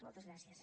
moltes gràcies